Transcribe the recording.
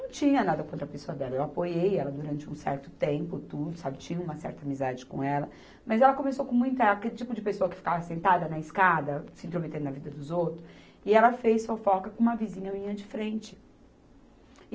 não tinha nada contra a pessoa dela, eu apoiei ela durante um certo tempo, tudo, sabe, tinha uma certa amizade com ela, mas ela começou com muita... aquele tipo de pessoa que ficava sentada na escada, se intrometendo na vida dos outros, e ela fez fofoca com uma vizinha minha de frente. E